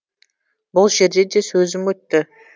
бұл жерде де сөзім өтті